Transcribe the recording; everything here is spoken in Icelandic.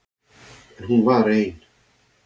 En hún var ein.